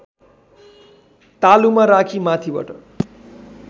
तालुमा राखी माथिबाट